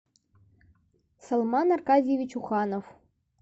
салман аркадьевич уханов